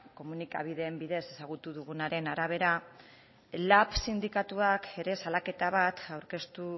komunikabideen bidez ezagutu dugunaren arabera lab sindikatuak ere salaketa bat aurkeztu